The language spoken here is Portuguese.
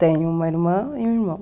Tenho uma irmã e um irmão.